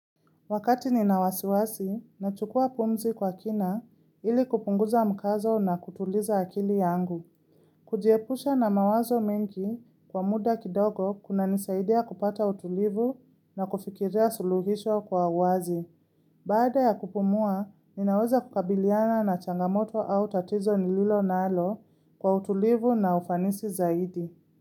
Wakati ninawasiwasi na chukua pumzi kwa kina ili kupunguza mkazo na kutuliza akili yangu. Kujiepusha na mawazo mengi kwa muda kidogo kuna nisaidia kupata utulivu na kufikiria suluhisho kwa wazi. Baada ya kupumua, ninaweza kukabiliana na changamoto au tatizo nililo nalo kwa utulivu na ufanisi zaidi.